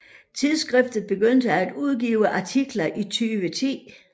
Tidsskriftet begyndte at udgive artikler i 2010